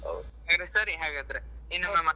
ಹೊ ಸರಿ ಹಾಗಾದ್ರೆ ಇನ್ನೊಮ್ಮೆ.